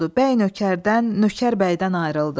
Bəy nökərdən, nökər bəydən ayrıldı.